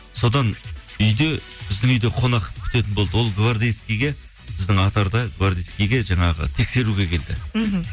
содан үйде біздің үйде қонақ күтетін болды ол гвардеецкиге біздің атарда гвардеецкиге жаңағы тексеруге келді мхм